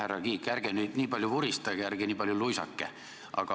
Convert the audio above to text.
Härra Kiik, ärge nüüd nii palju vuristage ja ärge nii palju luisake.